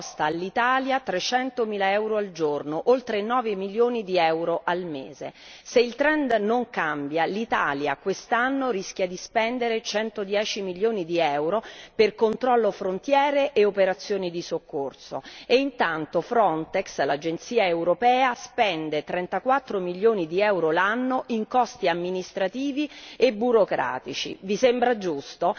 Costa all'Italia 300000 euro al giorno, oltre 9 milioni di euro al mese. Se il trend non cambia, l'Italia quest'anno rischia di spendere 110 milioni di euro per il controllo alle frontiere e le operazioni di soccorso e intanto Frontex, l'Agenzia europea, spende 34 milioni di euro l'anno in costi amministrativi e burocratici. Vi sembra giusto?